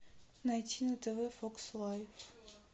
найти на тв фокс лайф